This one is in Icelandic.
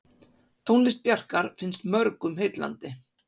Tónlist Bjarkar finnst mörgum heillandi.